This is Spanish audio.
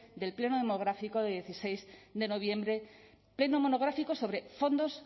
del pleno monográfico de dieciséis de noviembre pleno monográfico sobre fondos